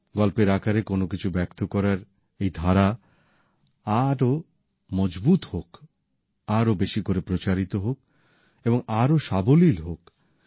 গল্পের আকারে কোন কিছু ব্যক্ত করার এই ধারা আরো মজবুত হোক আরো বেশি করে প্রচারিত হোক এবং আরো সাবলীল হোক